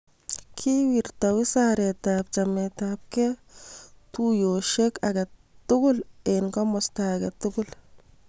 kikerta wizaretab chametabgei tuyiotinwek age tugul eng' komosto age tugul.